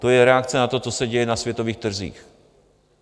To je reakce na to, co se děje na světových trzích.